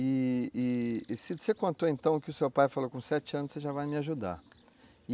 E, e, você contou então que o seu pai falou que com sete anos você já vai me ajudar.